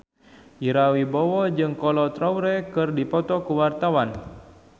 Ira Wibowo jeung Kolo Taure keur dipoto ku wartawan